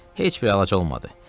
Heç bir əlacı olmadı.